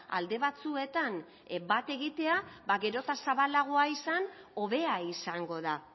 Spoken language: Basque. alde batzuetan bat egitea ba gero eta zabalagoa izan hobea izango da